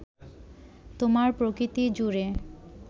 তোমার প্রকৃতি জুড়ে